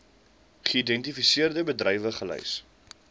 geïdentifiseerde bedrywe gelys